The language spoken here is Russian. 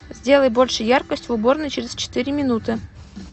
сделай больше яркость в уборной через четыре минуты